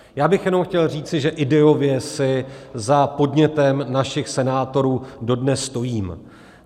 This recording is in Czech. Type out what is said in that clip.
Já bych jenom chtěl říci, že ideově si za podnětem našich senátorů dodnes stojím.